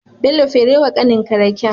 Bello fere wa kanin ka raken